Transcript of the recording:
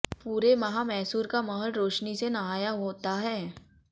पूरे माह मैसूर का महल रोशनी से नहाया होता है